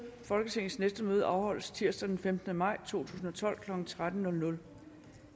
folketingets næste møde afholdes tirsdag den femtende maj tusind og tolv klokken tretten